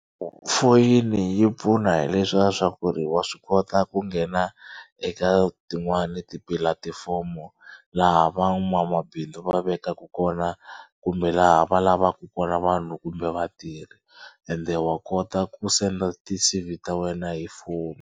Foyini yi pfuna hi le swa swa ku ri wa swi kota ku nghena eka tin'wani tipulatifomo laha va n'wamabindzu va vekaka kona kumbe laha va lavaka kona vanhu kumbe vatirhi ende wa kota ku send ti-C_V ta wena hi foni.